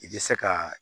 I bɛ se ka